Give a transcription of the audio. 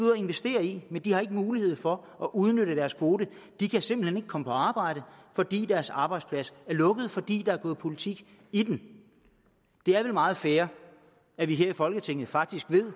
investere i men de har ikke mulighed for at udnytte deres kvoter de kan simpelt hen ikke komme på arbejde fordi deres arbejdsplads er lukket fordi der er gået politik i den det er vel meget fair at vi her i folketinget faktisk ved